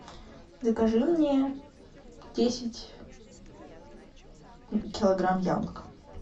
закажи мне десять килограмм яблок